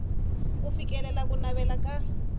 ku fikelela ku navela ka